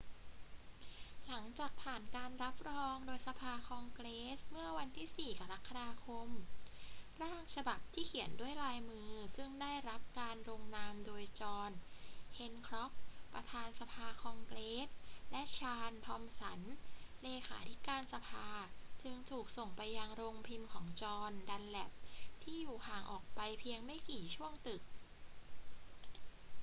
หลังจากผ่านการรับรองโดยสภาคองเกรสเมื่อวันที่ 4 กรกฎาคม ร่างฉบับที่เขียนด้วยลายมือซึ่งได้รับการลงนามโดยจอห์น แฮนค็อก ประธานสภาคองเกรสและชาร์ลส์ ทอมสัน เลขาธิการสภาจึงถูกส่งไปยังโรงพิมพ์ของจอห์น ดันแลปที่อยู่ห่างออกไปเพียงไม่กี่ช่วงตึก